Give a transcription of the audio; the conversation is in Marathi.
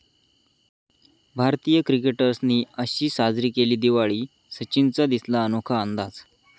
भारतीय क्रिकेटर्सनी अशी साजरी केली दिवाळी, सचिनचा दिसला अनोखा अंदाज